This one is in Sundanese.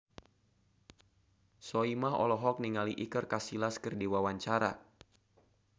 Soimah olohok ningali Iker Casillas keur diwawancara